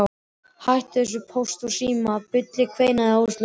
Hættu þessu Póst og Síma bulli kveinaði Áslaug.